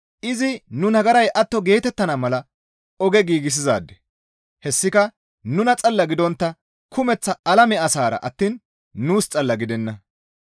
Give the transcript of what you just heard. Izi nu nagaray atto geetettana mala oge giigsizaade; hessika nuna xalla gidontta kumeththa alame asassara attiin nuus xalla gidenna.